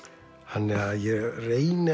þannig að ég reyni